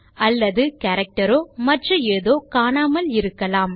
அல்லது character row மற்ற ஏதோ காணாமல் இருக்கலாம்